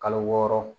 Kalo wɔɔrɔ